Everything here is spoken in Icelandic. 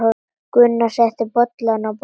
Gunnar setti bollana á borðið.